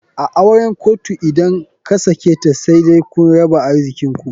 A auren kotu idan kasaketa said kun raba arzikinku.